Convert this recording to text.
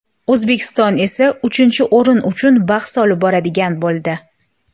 O‘zbekiston esa uchinchi o‘rin uchun bahs olib boradigan bo‘ldi.